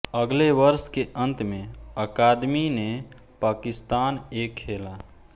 अगले वर्ष के अंत में अकादमी ने पाकिस्तान ए खेला